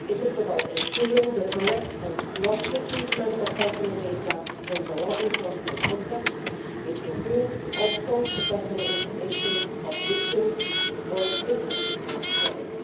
It is about ensuring the correct and lawful treatment of personal data in the law enforcement context, which also includes the personal information of victims or witnesses of crime.